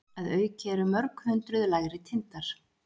Að auki eru mörg hundruð lægri tindar.